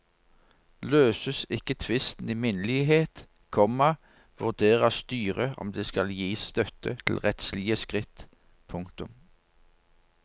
Løses ikke tvisten i minnelighet, komma vurderer styret om det skal gis støtte til rettslige skritt. punktum